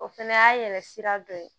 O fɛnɛ y'a yɛlɛ sira dɔ ye